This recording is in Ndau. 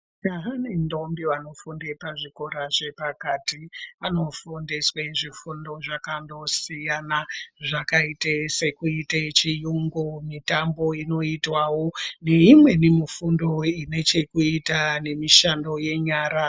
Majaha nendombi vanofunda pazvikora zvepakati vanofundiswe zvifundo zvakandosiyana zvakaite sekuite chiyungu, mitambo inoitwawo neimwewo mifundo ine chekuita nemishando yenyara.